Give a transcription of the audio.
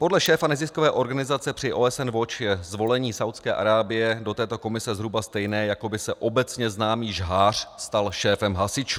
Podle šéfa neziskové organizace při OSN Watch je zvolení Saúdské Arábie do této komise zhruba stejné, jako by se obecně známý žhář stal šéfem hasičů.